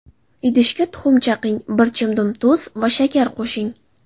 Idishga tuxum chaqing, bir chimdim tuz va shakar qo‘shing.